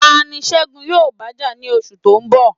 Ta ni Segun yóò bá jà ní oṣù tó ń bọ̀?